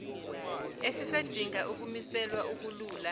esisadinga ukumiselwa akulula